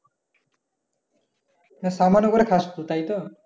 সামান্য করে খাস তো তাই তো?